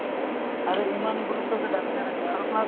আৰু ইমান গুৰুত্ব যে ঢাকি নাৰাখে আৰু plus